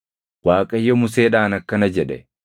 Waaqayyo Museedhaan akkana jedhe;